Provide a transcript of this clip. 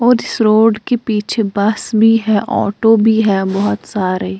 और इस रोड के पीछे बस भी है ऑटो भी है बहुत सारे ।